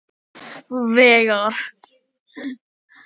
Veigar